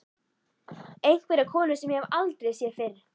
Einhverja konu sem ég hef aldrei séð fyrr.